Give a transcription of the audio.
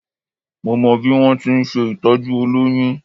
Mo mọ bí wọ́n ti ń ṣe ìtọ́jú olóyún